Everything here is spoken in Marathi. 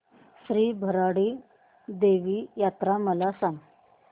श्री भराडी देवी यात्रा मला सांग